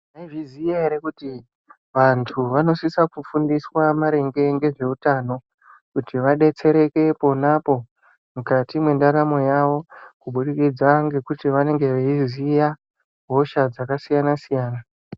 Mwaizviziya ere kuti vantu vanosisa kufundiswa maringe ngezveutano kuti vadetsereke ponapo mukati mwendaramo yavo kuburikidza ngekuti vanenge veiziya hosha dzakasiyana-siyana.